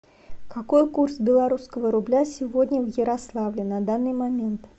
какой курс белорусского рубля сегодня в ярославле на данный момент